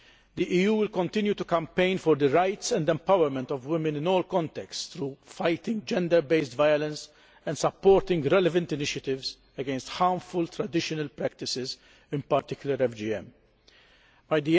The EU will continue to campaign for the rights and empowerment of women in all contexts through fighting gender based violence and supporting relevant initiatives against harmful traditional practices, in particular female genital mutilation By